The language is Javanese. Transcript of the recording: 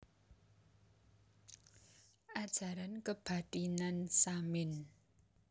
Ajaran Kebathinan Samin